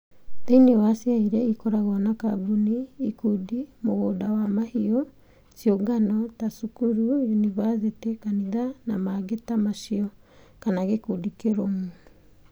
Thĩinĩ wa ciea irĩa ikoragwo na kambuni, ikundi, mũgũnda wa mahiũ, ciũngano (ta cukuru, yunivasĩtĩ, kanitha, na mangĩ ta macio), kana gĩkundi kĩrũmu